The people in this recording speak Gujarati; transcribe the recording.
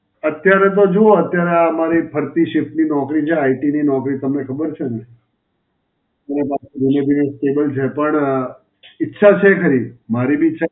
અત્યારે તો જુઓ અત્યારે આ મારી ફરતી shift ની નોકરી છે. IT ની નોકરી તમને ખબર છે ને. delivery cable છે. પણ ઈચ્છા છે ખરી. મારી બી ઈચ્છા